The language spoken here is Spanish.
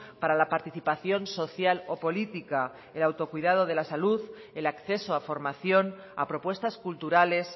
para la participación social o política el autocuidado de la salud el acceso a formación a propuestas culturales